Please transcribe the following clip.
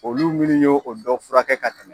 Olu minnu ye o dɔ fura kɛ ka tɛmɛ.